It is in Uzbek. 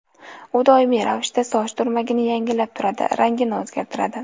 U doimiy ravishda soch turmagini yangilab turadi, rangini o‘zgartiradi.